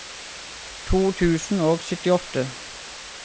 to tusen og syttiåtte